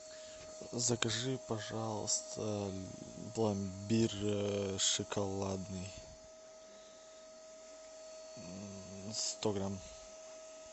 закажи пожалуйста пломбир шоколадный сто грамм